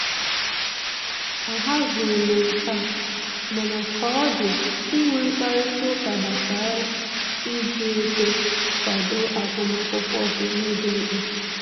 Ahazighị m nke a, mana ka ọ dị inwe mkparịta ụka gbasara iji ego kwado agụmakwụkwọ bụ ihe dị mkpa